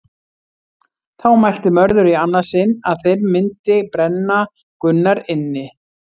Þá mælti Mörður í annað sinn að þeir myndi brenna Gunnar inni.